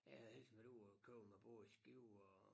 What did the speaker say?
Jeg havde ellers været ude og min båd i Skive og